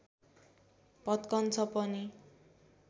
भत्कन्छ पनि